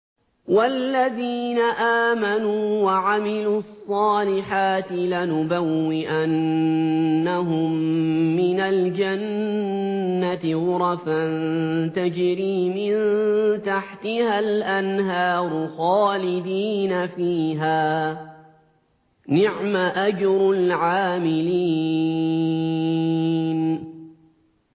وَالَّذِينَ آمَنُوا وَعَمِلُوا الصَّالِحَاتِ لَنُبَوِّئَنَّهُم مِّنَ الْجَنَّةِ غُرَفًا تَجْرِي مِن تَحْتِهَا الْأَنْهَارُ خَالِدِينَ فِيهَا ۚ نِعْمَ أَجْرُ الْعَامِلِينَ